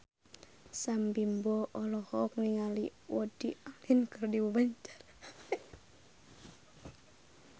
Sam Bimbo olohok ningali Woody Allen keur diwawancara